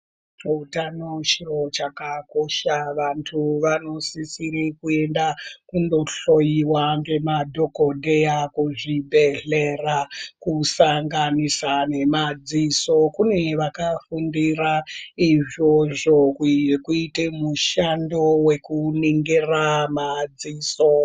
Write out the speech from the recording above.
Utano chiro chakakosha. Vantu vanosisire kuenda kundohloiwa ngemadhokodheya kuzvibhedhlera, kusanganisa nemadziso. Kune vakafundira izvozvo wekuite mushando wekuningira madziso.